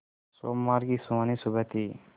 सोमवार की सुहानी सुबह थी